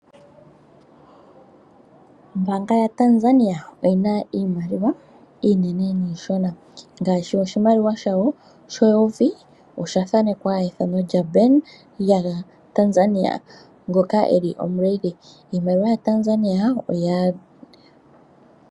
Ombanga yaTanzania oyi na iimaliwa iinene niishona ngaashi oshimaliwa shawo sheyovi osha thanekwa ethano lyaBenki Kuu Ya ngoka eli omuleli.